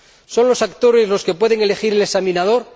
¿Son los actores los que pueden elegir al examinador?